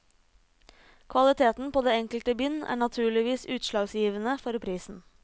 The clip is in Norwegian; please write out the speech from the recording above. Kvaliteten på det enkelte bind er naturligvis utslagsgivende for prisen.